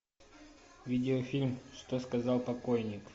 видеофильм что сказал покойник